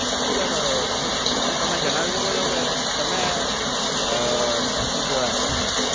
તો sir ઉહ શું તમે જણાવી શકો છો કે તમે અમ શું કેવાય